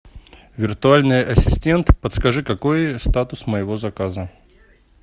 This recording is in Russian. виртуальный ассистент подскажи какой статус моего заказа